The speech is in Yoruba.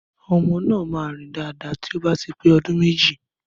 Ọmọ nà mà rín dàdá tòbá típè ọmọ òdún mẹjí.